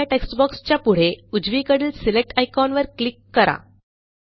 पहिल्या टेक्स्ट boxच्या पुढे उजवीकडील सिलेक्ट आयकॉनवर क्लिक करा